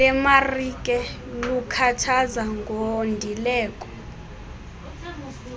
lemarike lukhathaza ngondileko